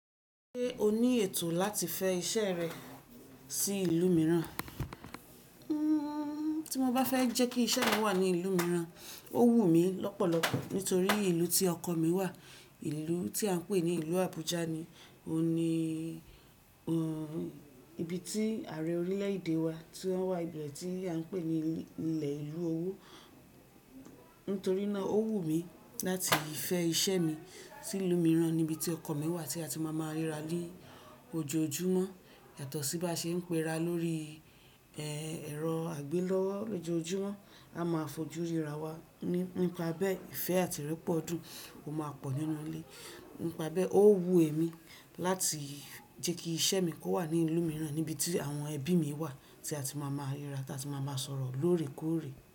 Ṣé o ní ètò láti fẹ iṣẹ́ rẹ sí ìlú mìíràn? Hmm, tí mo bá fẹ jẹ́ kí iṣẹ́ mi wà ní ìlú mìíràn, ó wù mí lọ́pọ̀lọpọ̀ nítorí ìlú tí ọkọ̀ mi wà, ìlú tí à ń pè ní ìlú Abuja ni, o ni ibi tí ààrẹ orílẹ̀-èdè wa tí ó wà ibi tí à ń pè ní ilẹ̀ ìlú owó. Nítorí náà ó wù mí láti fẹ iṣẹ́ mi sí ìlú mìíràn níbi tí ọkọ̀ mi wà tí a ti máa máa ríra ní ojoojúmọ́, ètọ́ sí bá ṣe ń pera lórí ẹ̀rọ àgbélọ́wọ́ lójoojúmọ́, a máa fojú ríra wa nípa bí ẹfẹ́ àti rẹpọ̀ dùn ó máa pọ̀ nínú ilé. Nípa bí ó wù èmi láti jẹ́ kí iṣẹ́ mi kò wà ní ìlú mìíràn níbi tí àwọn ẹbí mi wà tí a ti máa máa ríra tí a ti máa máa sọ̀rọ̀ lóòrèkóòrè.